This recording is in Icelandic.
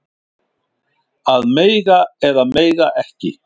Að mega eða mega ekki